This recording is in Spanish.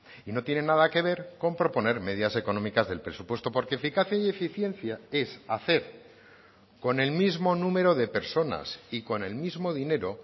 y no tienen nada que ver con proponer medidas económicas del presupuesto porque eficacia y eficiencia es hacer con el mismo número de personas y con el mismo dinero